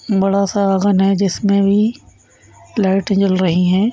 बड़ासा लगन है जिसमे भी लाइटे जल रही है ।